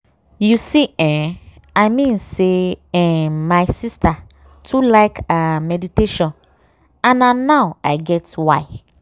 you see eh i mean say eeh my sister too like ah meditation and na now i get why.